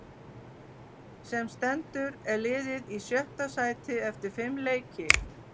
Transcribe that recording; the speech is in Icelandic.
Sem stendur er liðið í sjötta sæti eftir fimm leiki.